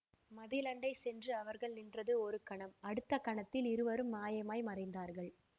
மதிலண்டை சென்று அவர்கள் நின்றது ஒரு கணம் அடுத்த கணத்தில் இருவரும் மாயமாய் மறைந்தார்கள்